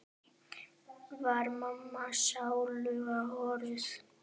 Var mamma sáluga horuð?